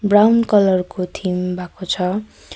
Brown colour को theme भाको छ।